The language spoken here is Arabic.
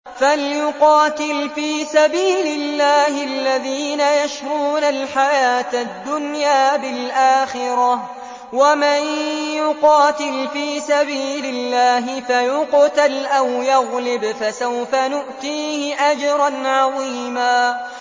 ۞ فَلْيُقَاتِلْ فِي سَبِيلِ اللَّهِ الَّذِينَ يَشْرُونَ الْحَيَاةَ الدُّنْيَا بِالْآخِرَةِ ۚ وَمَن يُقَاتِلْ فِي سَبِيلِ اللَّهِ فَيُقْتَلْ أَوْ يَغْلِبْ فَسَوْفَ نُؤْتِيهِ أَجْرًا عَظِيمًا